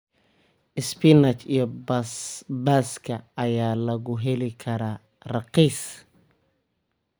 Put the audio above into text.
Spinach iyo basbaaska ayaa lagu heli karaa raqiis.